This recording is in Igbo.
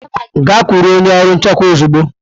Gaa kwụrụ onye ọrụ nchekwa ozugbo!